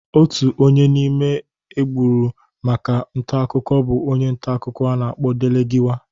Otu onye n'ime egbugoro maka ntakụkọ bụ onye ntakụkọ a na-akpọ Delegiwa.